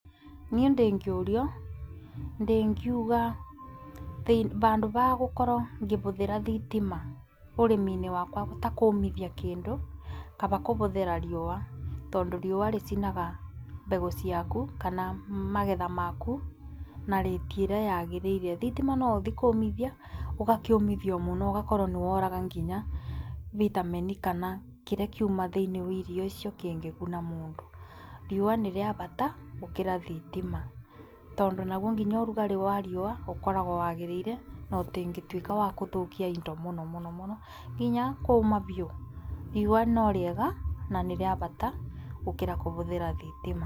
Niĩ ndĩngĩũrio, ndĩngĩuga handũ wa gũkorwo ngĩhũthĩra thitima, ũrĩmi-inĩ wakwa ta kũmithia kĩndũ, kaba kũhũthĩra riũa, tondũ riũa rĩcinaga mbegũ ciaku kana magetha maku na rĩti ĩrĩa yagĩrĩrire. Thitima no ũthii kũmithia ũgakĩũmithia mũno ,ũgakora nĩ woraga nginya vitamin kana kĩrĩa kĩuma thĩinĩ wa irio icio cingĩguna mũndũ, riũa nĩrĩabata gũkĩra thitima, tondũ nauo nginya ũrugarĩ wa riũa ũkoragwa wagĩrĩire na ũtĩngĩtuĩka wa kũthũkia indo mũno mũno nginya kuma biũ, riũa no rĩega na nĩ rĩa bata gũkĩra gũhũthĩra thitima.